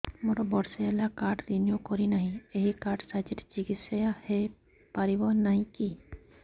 ମୋର ବର୍ଷେ ହେଲା କାର୍ଡ ରିନିଓ କରିନାହିଁ ଏହି କାର୍ଡ ସାହାଯ୍ୟରେ ଚିକିସୟା ହୈ ପାରିବନାହିଁ କି